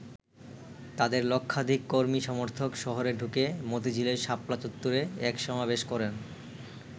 তাদের লক্ষাধিক কর্মী-সমর্থক শহরে ঢুকে মতিঝিলের শাপলা চত্বরে এক সমাবেশ করেন।